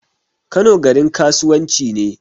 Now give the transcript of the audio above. Kano garin kasuwan ci ne